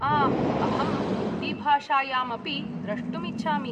आम्, अहं हिन्दीभाषायामपि द्रष्टुम् इच्छामि।